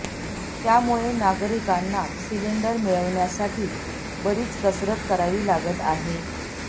त्यामुळे नागरिकांना सिलिंडर मिळविण्यासाठी बरीच कसरत करावी लागत आहे